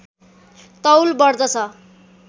तौल बढ्दछ